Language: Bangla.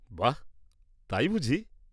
-বাহ্, তাই বুঝি?